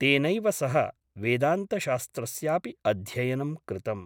तेनैव सह वेदान्तशास्त्रस्यापि अध्ययनं कृतम् ।